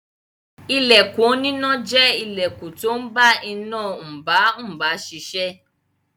Ilẹkùn oníná jẹ́ ilẹkùn tó ń bá iná mbà mbá ṣiṣẹ́.